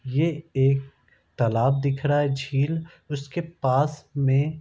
ये एक तालाब दिख रहा है झील उसके पास में --